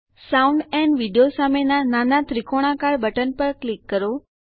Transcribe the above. sound and video સામેના નાના ત્રિકોણાકાર બટન પર ક્લિક કરો